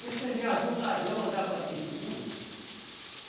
Porque você já viu ladrão andar com a testemunha?